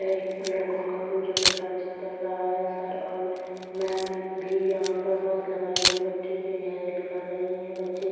यह एक लड़को का प्रॉजेक्ट कार्य का चल रहा है सर और मेम भी यहां पर मास्क लगाए हुए बच्चो की हेल्प कर रहीं हैं | बच्चे--